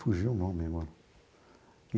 Fugiu o nome agora.